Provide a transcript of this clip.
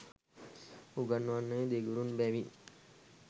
උගන්වන්නේ දෙගුරුන් බැවින්